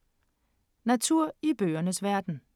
Natur i bøgernes verden